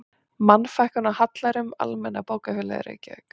Mannfækkun af hallærum, Almenna bókafélagið, Reykjavík